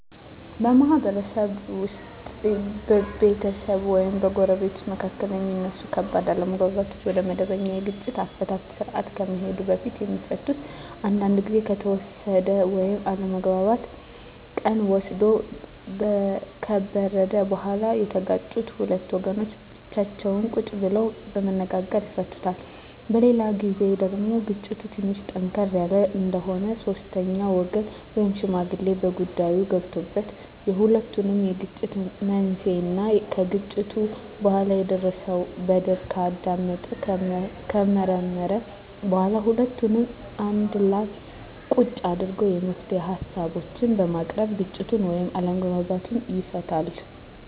በማህበረሰብ ውስጥ በቤተሰብ ወይም በጎረቤቶች መካከል የሚነሱ ከባድ አለመግባባቶች ወደመበኛ የግጭት አፈታት ስርአት ከመሄዱ በፊት የሚፈቱት አንዳንዱ ግዜ ከተወሰደ ወይም አለመግባባቱ ቀን ወስዶ ከበረደ በኋላ የተጋጩት ሁለት ወገኖች ብቻቸውን ቁጭ ብለው በመነጋገር ይፈቱታል። በሌላ ግዜ ደግሞ ግጭቱ ትንሽ ጠንከር ያለ እንደሆነ ሶስተኛ ወገን ወይም ሽማግሌ በጉዳይዮ ገብቶበት የሁለቱንም የግጭት መንሴና ከግጭቱ በኋላ የደረሰው በደል ካዳመጠና ከመረመረ በኋላ ሁለቱንም አንድላ ቁጭ አድርጎ የመፍትሄ ሀሳቦችን በማቅረብ ግጭቱን ወይም አለመግባባቱን ይፈታል።